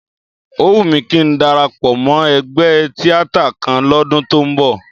Ó wù mí kí ń darapọ̀ mọ́ ẹgbẹ́ tíátà kan lọ́dún tó ń bọ̀